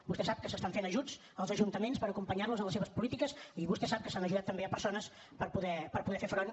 vostè sap que s’estan fent ajuts als ajuntaments per acompanyar los en les seves polítiques i vostè sap que s’han ajudat també persones per poder fer front